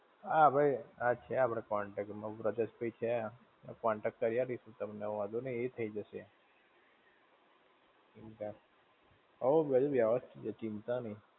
આ ભઈ. હા છે આપણી contact માં બ્રજેશભાઈ છે, contact કરાઈ આપીશું તમને વાંધો નહિ, એય થઇ જાશે. શું છે. હોવ બધું વ્યવસ્થિત છે ચિતા નહિ.